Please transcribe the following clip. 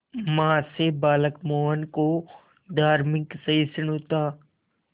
मां से बालक मोहन को धार्मिक सहिष्णुता